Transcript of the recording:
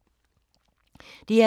DR2